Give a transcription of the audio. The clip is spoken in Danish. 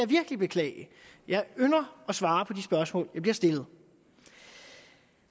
virkelig beklage jeg ynder at svare på de spørgsmål jeg bliver stillet